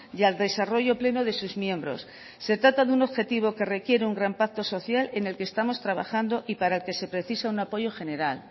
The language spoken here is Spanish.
y al desarrollo pleno de sus miembros se trata de un objetivo que requiere un gran pacto social en el que estamos trabajando y para el que se precisa un apoyo general